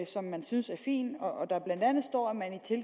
som man synes er fin og der blandt andet står